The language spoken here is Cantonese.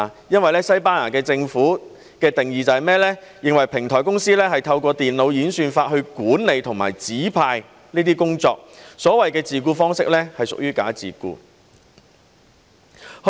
根據西班牙政府的定義，他們認為平台公司是透過電腦演算法來管理和指派工作，所謂的自僱方式是屬於"假自僱"。